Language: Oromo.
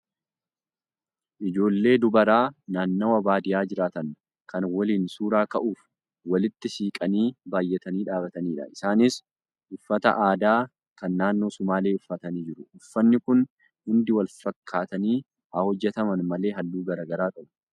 Ijoollee dubaraa naannawaa baadiyyaa jiraatan kan waliin suuraa ka'uuf walitti siiqanii baay'atanii dhaabatanidha. Isaaniis uffata aadaa kan naannoo sumaalee uffatanii jiru. Uffanni kun hundi walfakkaatanii haa hojjataman malee haalluu garaagaraa qabu.